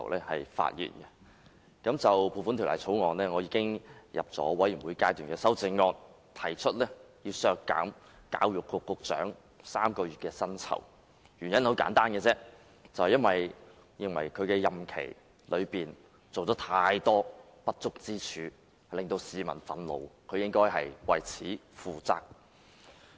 我已就《2017年撥款條例草案》提交全體委員會審議階段修正案，提出削減教育局局長3個月薪酬，原因很簡單，我認為他任內有太多不足之處，令市民憤怒，他應該為此負責。